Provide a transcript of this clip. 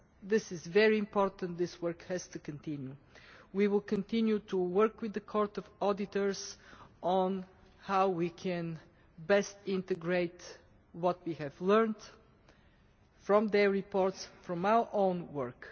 That is very important. This work has to continue. We will continue to work with the Court of Auditors on how we can best integrate what we have learned from its reports and from our own work.